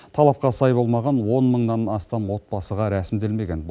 талапқа сай болмаған он мыңнан астам отбасыға рәсімделмеген